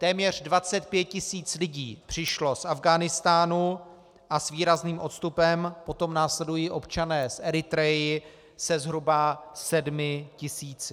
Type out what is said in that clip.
Téměř 25 tisíc lidí přišlo z Afghánistánu a s výrazným odstupem potom následují občané z Eritrey se zhruba 7 tisíci.